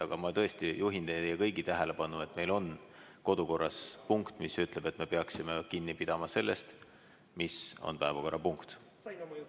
Aga ma juhin teie kõigi tähelepanu, et meil on kodukorras punkt, mis ütleb, et me peaksime kinni pidama sellest, mis on päevakorrapunkti teema.